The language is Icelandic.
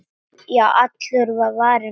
Já, allur var varinn góður!